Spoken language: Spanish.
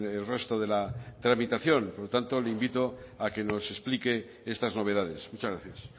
el resto de la tramitación por lo tanto le invito a que nos explique estas novedades muchas gracias